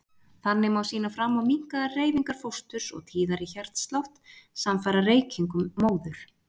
Þannig má sýna fram á minnkaðar hreyfingar fósturs og tíðari hjartslátt samfara reykingum móður.